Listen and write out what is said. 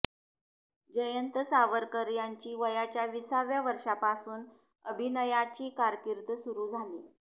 जयंत सावरकर यांची वयाच्या विसाव्या वर्षापासून अभिनयाची कारकीर्द सुरु झाली